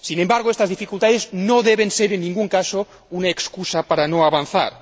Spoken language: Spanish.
Sin embargo, estas dificultades no deben ser en ningún caso una excusa para no avanzar.